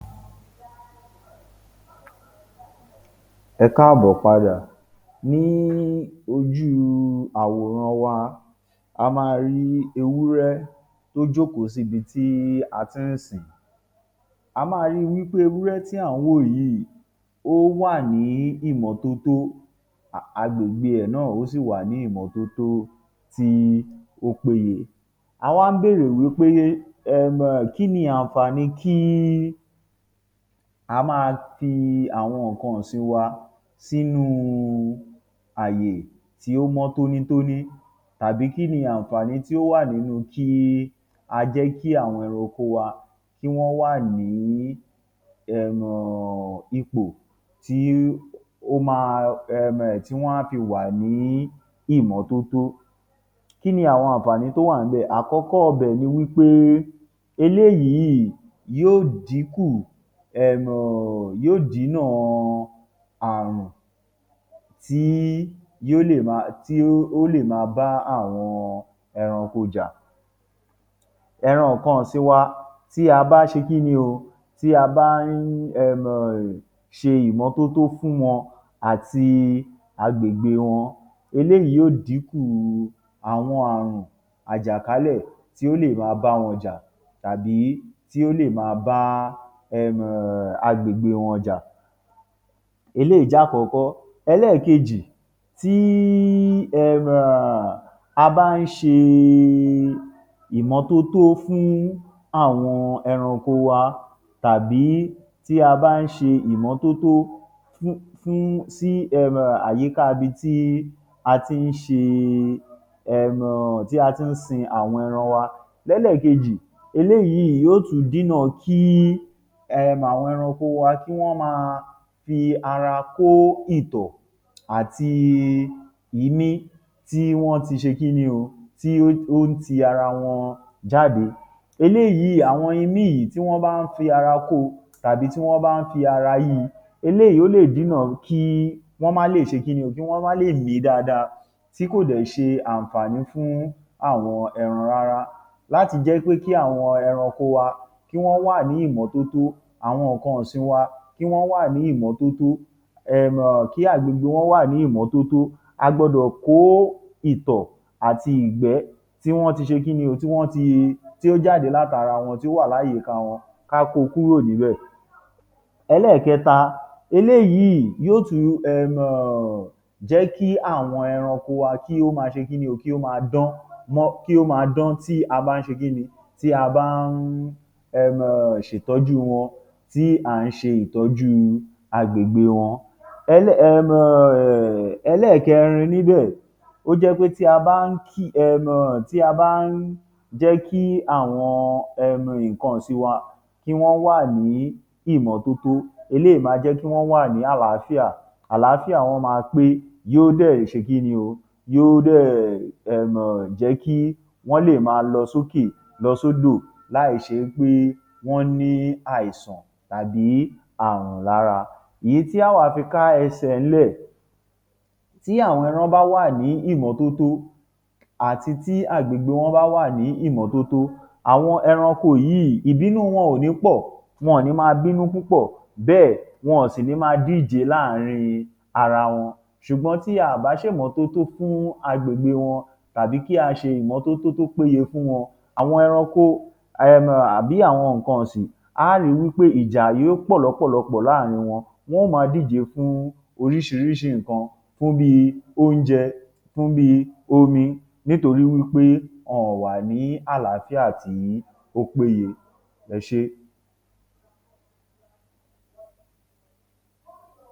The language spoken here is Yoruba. Ẹ káàbọ̀ padà, ní ojúu àwòrán wa, a máa rí ewúrẹ́ tó jókòó sí ibi tí a ti ń sìn ín. A máa rí ewúrẹ́ tí à ń wò yìí ó wà ní ìmọ́tótó, agbègbè ẹ̀ náà sì wà ní imọ̀tótó tí ó péye. A wá ń béèrè wí pé um kí ni àǹfààní pé ká máa sin àwọn nǹkan ọ̀sìn wa sínú àyè tí ó mọ́ tónítóní àbí kí ni àǹfààní tí ó wà nínú kí a jẹ́ kí àwọn ẹran oko wa ká jẹ́ kó wà ní ipò um tí wọ́n ó fi wà ní ìmọ́tótó. Kí ni àǹfààní tó wà níbè? Àkọ́kọ́ ibè ni wí pé eléyìí yóó díkùn um, yóó dínà ààrùn tí yó tí ó lè máa bá àwọn eranko jà. Ẹran nǹkan ọ̀sìn wa tí a bá ṣe kí ni o, tí a bá ń um ṣe ìmọ́tótó fún wọn àti agbègbè wọn, eléyìí yóó dínkù àwọn ààrùn àwọn àjàkálẹ̀ tí ó lè máa báwọn jà àbí tí ó lè máa bá um agbègbè wọn jà. Eléyìí jẹ́ àkọ́kọ́. Ẹlẹ́ẹ̀kejì, tí um a bá ń ṣe ìmọ́tótó fún àwọn ẹranko wa tàbí tí a bá ń ṣe ìmọ́tótó fún sí um àyíká ibi tí a ti ń ṣe um tí a ti ń sin àwọn ẹran wa, l’ẹ́lẹ́ẹ̀kejì, eléyìí yóó tún dínà kí um àwọn ẹranko wa kí wọ́n máa fi ara kó ìtọ̀ àti imí tí wọ́n ti ṣe kí ni o, tí ó ń ti ara wọn jáde. Eléyíì, àwọn imí yìí tí wọ́n bá ń fi ara kó o àbí tí wọ́n bá ń fi ara yí i, eléyíì o lè dínà kí wọ́n má le ṣe kí ni o, kí wọ́n má lè dáadáa tí kò dẹ̀ ṣ’àǹfààní fún àwọn ẹran rárá. Láti jẹ́ pé kí àwọn ẹranko kí wọ́n wà ní ìmọ́tótó. Àwọn nǹkan ọ̀sìn wa kí wọ́n wà ní ìmọ́tótó um kí wọ́n wà ní ìmọ́tótó um kí agbègbè wọn wà ní ìmọ́tótó, a gbọdọ̀ kó ìtọ̀ àti ìgbẹ́ tí wọ́n ti ṣe kí ni o, tí wọ́n ti tí ó jáde látara wọn, tí ó wà ní àyíká wọn ká kó o kúrò níbẹ̀. Ẹlẹ́ẹ̀kẹta, eléyíì yóó tún um jẹ́ kí àwọn ẹran kí ó máa ṣe kí ni o, kí ó máa dán kí ó máa dán tí a bá ń ṣe ki ni o, tí a bá ń um ṣètọ́jú wọn, tí a ń sẹ ìtọ́júu agbègbè wọn. um Ẹlẹ́ẹ̀kẹrin níbẹ̀, tó jẹ́ pé tí a bá ń ki um tí a bá ń jẹ́ kí àwọn um nǹkan ọ̀sin wa kí wọ́n wà ní ìmọ́tótó, eléyìí máa jẹ́ kí wọ́n wà ní àlááfíà, àlááfíà wọn máa pé yóó dẹ̀ ṣe kí ni o, yóó dẹ̀ um jẹ́ kí wọ́n lè máa lọ sókè, lọ sódò láè ṣe pé wọ́n ní àìsàn àbí ààrùn lára. Èyí tí àá wá fi ká ẹsẹ̀ ẹ̀ ńlẹ̀, tí àwọn ẹran bá wà ní ìmọ́tótó àti tí agbègbè wọn bá wà ní ìmọ́tótó, àwọn ẹranko yíì, ìbínú wọn ò ní pọ̀, wọn ò ní máa bínú púpọ̀, bẹ́ẹ̀ wọn ò sì ní máa díje láàárín ara wọn ṣùgbọ́n tí a ò bá ṣe ìmọ́tótó fún agbègbè wọn àbí tí a ò bá ṣe ìmọ́tótó tó péye fún wọn, àwọn ẹranko um àbí àwọn nǹkan ọ̀sìn, aá rí i wí pé ìjà yóó pọ̀ l’ọ́pọ̀lọpọ̀ láàárín wọn. Wọ́n ó máa díje fún oríṣiríṣi nǹkan fún bí i óúnjẹ, fún bí i omi nítorí pé wọn òn wà ní àlááfíà tí ó péye. Ẹ ṣé.